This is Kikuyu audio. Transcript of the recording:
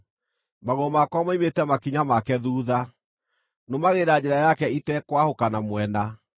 Magũrũ makwa moimĩte makinya make thuutha; nũmagĩrĩra njĩra yake itekwahũka na mwena.